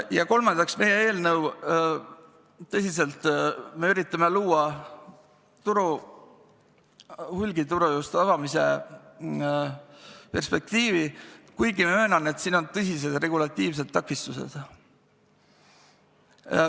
Ja kolmandaks, me tõsiselt üritame luua hulgituru avamise perspektiivi, kuigi ma möönan, et sellel on tõsised regulatiivsed takistused.